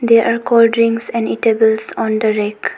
There are cold drinks and eatables on the rack.